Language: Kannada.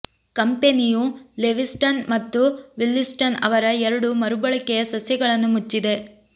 ಕಂಪೆನಿಯು ಲೆವಿಸ್ಟನ್ ಮತ್ತು ವಿಲ್ಲಿಸ್ಟನ್ ಅವರ ಎರಡು ಮರುಬಳಕೆಯ ಸಸ್ಯಗಳನ್ನು ಮುಚ್ಚಿದೆ